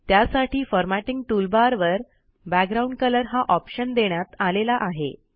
त्यासाठी formatting toolbar वर background colour हा ऑप्शन देण्यात आलेला आहे